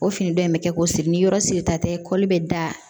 O fini dɔ in bɛ kɛ ko siri ni yɔrɔ sirita tɛ kɔli bɛ da